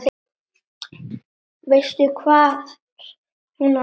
Veistu hvar hún á heima?